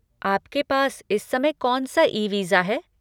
आपके पास इस समय कौनसा ई वीज़ा है?